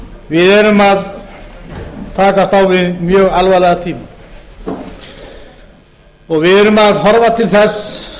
við erum að takast á við mjög alvarlega tíma við erum að horfa til þess